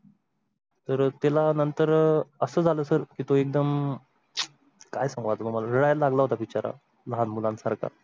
तर त्याला नंतर अह असं झालं सरतो एकदम काय सांगू तुम्हाला रडायला लागला होता बिचारा लहान मुलांसारखा.